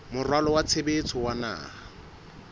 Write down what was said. moralo wa tshebetso wa naha